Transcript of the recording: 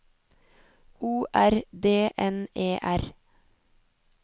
O R D N E R